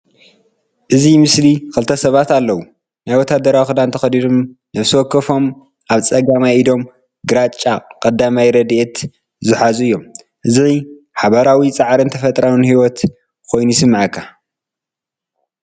ኣብዚ ምስሊ ክልተ ሰባት ኣለዉ። ናይ ወተሃደራዊ ክዳን ተኸዲኖም ነፍሲ ወከፎም ኣብ ጸጋማይ ኢዶም ግራጭ ቀዳማይ ረድኤት ዝሕዙ እዮም። እዚ ሓባራዊ ጻዕርን ተፈጥሮኣዊ ህይወትን ኮይኑ ይስምዓካ።